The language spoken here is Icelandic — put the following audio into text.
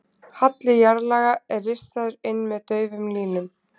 halli jarðlaga er rissaður inn með daufum línum